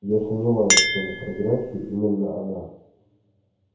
я сомневаюсь что на фотографии именно она